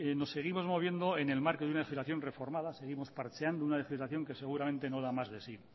nos seguimos moviendo en el marco de una legislación reformada seguimos parcheando una legislación que seguramente no da más de sí